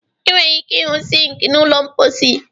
Ị nwere ike ịhụ sink na ụlọ mposi.